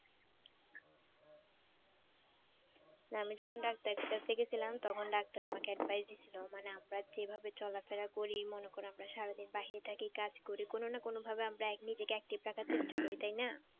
আমি যখন ডাক্তারের কাছে গেছিলাম তখন ডাক্তার তখন ডাক্তার আমাকে advise দিছিল মানে আমরা যেভাবে চলাফেরা করি মনে কর আমরা সারাদিন বাহিরে থাকি কাজ করি কোন না কোন ভাবে আমরা নিজেকে active রাখার চেষ্টা করি তাই না?